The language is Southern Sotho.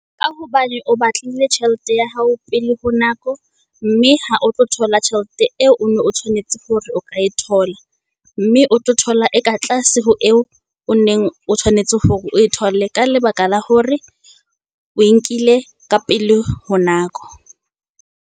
Ka hobane o batlile tjhelete ya hao pele ho nako, mme ha o tlo thola tjhelete eo o ne o tshwanetse hore o ka e thola. Mme o tlo thola e ka tlase ho eo o neng o tshwanetse hore o e thole ka lebaka la hore o e nkile ka pele ho nako.